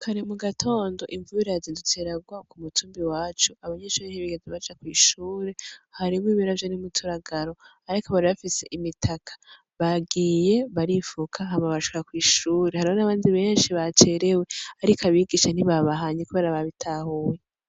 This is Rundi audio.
Kare mu gatondo imvubirazi duteragwa ku mutumbi wacu abanyenshori h' ibigaza baca kw'ishure haribo imiravya n'umuturagaro, ariko baribafise imitaka bagiye barifuka hama bashuka kw'ishure hari ron'abanzi benshi bacerewe, ariko abigisha ntibabahanye, kubera babitahuwe.